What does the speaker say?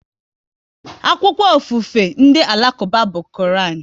Akwụkwọ ofufe ndị Alakuba bụ Koran